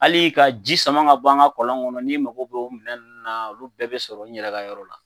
Hali ka ji sama ka bɔ an ka kɔlɔn kɔnɔ n'i mago bɛ minɛn na olu bɛɛ bɛ sɔrɔ n yɛrɛ ka yɔrɔ la